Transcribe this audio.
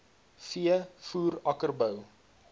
v voer akkerbou